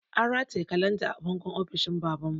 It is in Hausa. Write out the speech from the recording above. An rataye kalanda a bangon ofishin baban mu